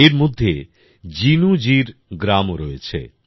এর মধ্যে জিনুজীর গ্রামও রয়েছে